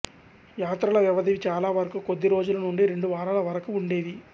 యాత్రల వ్యవధి చాలా వరకు కొద్ది రోజుల నుండి రెండు వారాల వరకు ఉండేవి